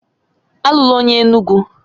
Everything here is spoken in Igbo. Alụla onye Enugwu!